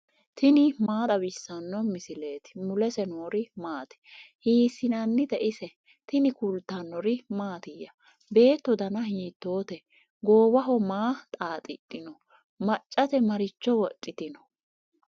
tini maa xawissanno misileeti ? mulese noori maati ? hiissinannite ise ? tini kultannori mattiya? beetto danna hiittotte? goowaho maa xaaxidhinno? maccatte maricho wodhittino?